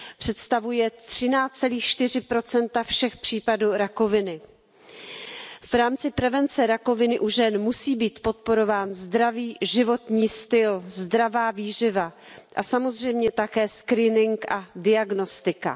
Představuje 13,4 všech případů rakoviny. V rámci prevence rakoviny u žen musí být podporován zdravý životní styl, zdravá výživa a samozřejmě také screening a diagnostika.